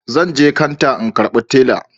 Zanje kanta in karbi tela